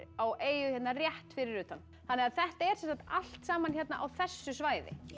á eyju hérna rétt fyrir utan þetta er allt saman hérna á þessu svæði